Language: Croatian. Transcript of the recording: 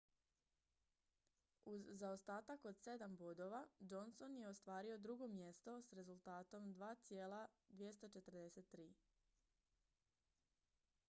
uz zaostatak od sedam bodova johnson je ostvario drugo mjesto s rezultatom 2,243